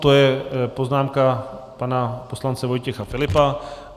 To je poznámka pana poslance Vojtěcha Filipa.